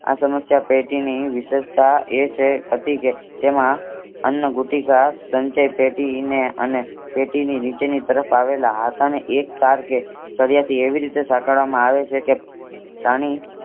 આ સમસ્યા પેટીને વિષેસતા એ છે હતી કે તેમાં અન્ન ભુતિક સંચય પેટી ને અને પેટીની નીચેની તરફ આવેલા હાથ ને એક ટાર કે સરિયાથી એવી રીતે સાંકળવામાં આવે છે કે પ્રાણી